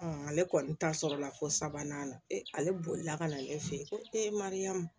ale kɔni ta sɔrɔla ko sabanan ale bolila ka na ale fe yen ko mariyamu